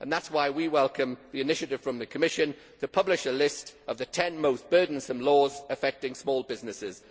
That is why we welcome the initiative from the Commission to publish a list of the ten most burdensome laws affecting small businesses.